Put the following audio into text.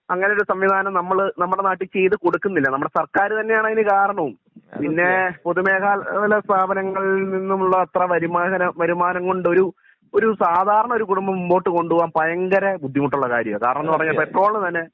അങ്ങിനെ ഉള്ള ഒരു സംവിധാനം നമ്മള് നമ്മുടെ നാട്ടിൽ ചെയ്തു കൊടുക്കുന്നില്ല നമ്മുടെ സർക്കാർ തന്നെയാണ് അതിന് കാരണവും പിന്നെ പൊതു മേഖല സ്ഥാപനങ്ങളിൽ നിന്നുള്ള അത്ര വരുമാനം വരുമാനംകോണ്ടൊരു ഒരു സാധാരണ ഒരു കുടുംബം മുമ്പോട്ട് കൊണ്ട് പോകാൻ ഭയങ്കര ബുദ്ധിമുട്ടുള്ള കാര്യം ആണ് കാരണം ന്ന് പറഞ്ഞാൽ പെട്രോൾ ഇന് തന്നെ